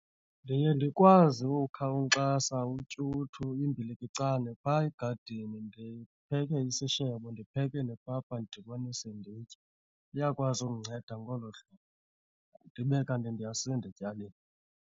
Ndiye ndikwazi ukha unkxasa, utyuthu, imbilikicane phaa egadini ndipheke isishebo, ndipheke nepapa ndidibanise nditye. Iyakwazi ukundinceda ngolo hlobo ndibe kanti ndiyasinda etyaleni.